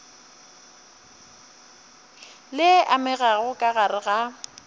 le amegago ka gare ga